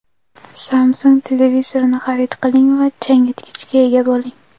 Samsung televizorini xarid qiling va changyutgichga ega bo‘ling.